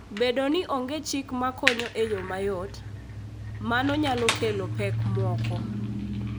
Bedo ni onge chik makonyo e yo mayot, mano nyalo kelo pek moko.